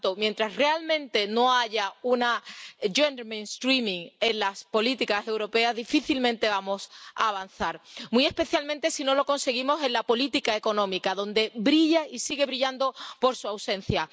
Por tanto, mientras realmente no haya una incorporación de la perspectiva de género en las políticas europeas, difícilmente vamos a avanzar, muy especialmente si no lo conseguimos en la política económica, donde brilla y sigue brillando por su ausencia.